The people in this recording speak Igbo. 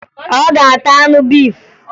Ọ ga-ata anụ efi?